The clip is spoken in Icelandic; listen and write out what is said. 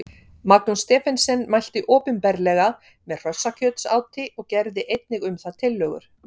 Magnús Stephensen mælti opinberlega með hrossakjötsáti og gerði einnig um það tillögur.